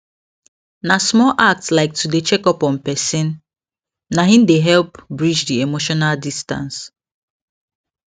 na small act like to dey check on person na hin help bridge d emotional distance